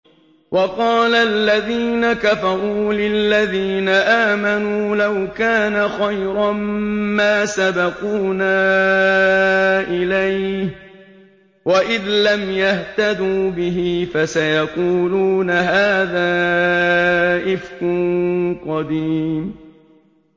وَقَالَ الَّذِينَ كَفَرُوا لِلَّذِينَ آمَنُوا لَوْ كَانَ خَيْرًا مَّا سَبَقُونَا إِلَيْهِ ۚ وَإِذْ لَمْ يَهْتَدُوا بِهِ فَسَيَقُولُونَ هَٰذَا إِفْكٌ قَدِيمٌ